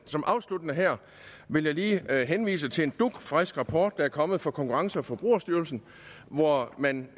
afsluttende her vil jeg lige henvise til en dugfrisk rapport der er kommet fra konkurrence og forbrugerstyrelsen hvor man